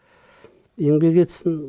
еңбек етсін